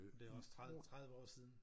Det også 30 30 år siden